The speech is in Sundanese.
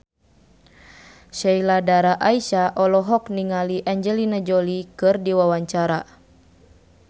Sheila Dara Aisha olohok ningali Angelina Jolie keur diwawancara